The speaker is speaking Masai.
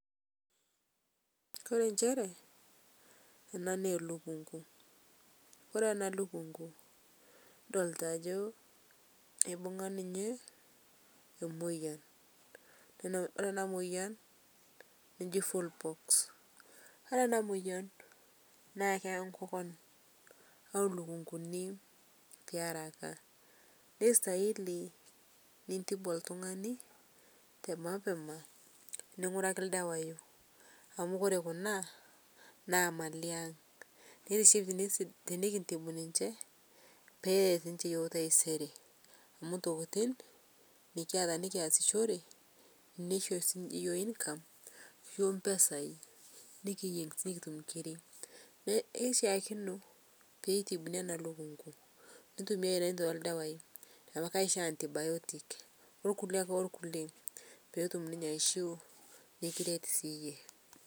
oree enjere enaa naa elukung'u kildolta ajo keibung'a ninye emoyian oree enamoyian naa eji [cs[fowl pox oree enamoyian naa eyaa nkokon ooo lulung'uni tearaka neistahili nintibu oltung'ani temapema ning'uraki ildawai amuu oree kuna naa imalin aang tenikintibu ninje peret ninje iyiok taisere amuu ntokiting' nikiata nikiasishore nishoo sininye iyiook income, ashuu impesai nekiyieng nekitum inkir neishakino peitibuni enalukungu neitumiai irentei oldawai amuu kaishoo antibiotics woo ilkuliek ake olkuliek pee kiret siyie.